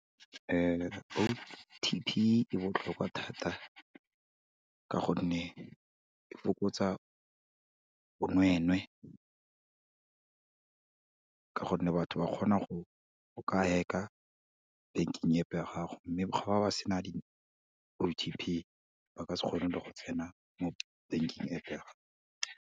O_T_P e botlhokwa thata ka gonne, e fokotsa bonweenwee, ka gonne batho ba kgona go ka hack-a banking App-e ya gago, mme ga ba ba sena di-O_T_P ba ka se kgone le go tsena mo banking App-e ya gago.